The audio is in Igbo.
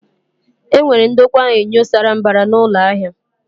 E nwere ndokwa enyo sara mbara na ụlọ ahia